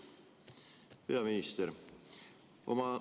Lugupeetud peaminister!